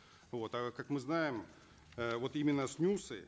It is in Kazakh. вот а как мы знаем э вот именно снюсы